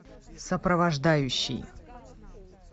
сопровождающий